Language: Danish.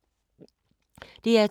DR2